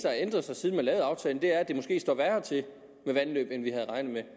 har ændret sig siden man lavede aftalen er at det måske står værre til med vandløbene end vi